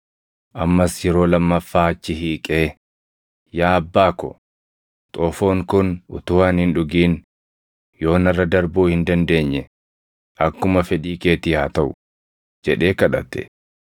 Ammas yeroo lammaffaa achi hiiqee, “Yaa Abbaa ko, xoofoon kun utuu ani hin dhugin yoo narra darbuu hin dandeenye akkuma fedhii keetii haa taʼu” jedhee kadhate.